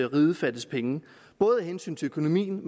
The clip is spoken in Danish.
riget fattes penge både af hensyn til økonomien